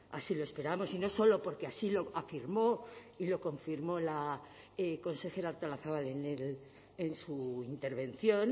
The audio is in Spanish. así lo esperamos y no solo porque así lo afirmó y lo confirmó la consejera artolazabal en su intervención